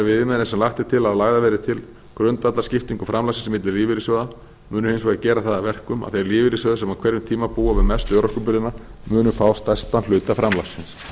það viðmið sem lagt er til að lagðar verði til grundvallar skiptingu framlagsins milli lífeyrissjóða munu hins vegar gera það að verkum að þeir lífeyrissjóðir sem á hverjum tíma búa við mestu örorkubyrðina munu fá stærstan hluta framlagsins